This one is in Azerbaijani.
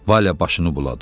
Valə başını buladı.